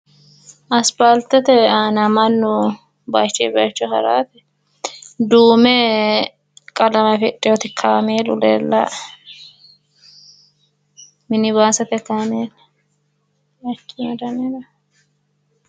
Asipalitete aana mannu baaychuy baaycho haraat duume qalame afidhinot kaamelu leelae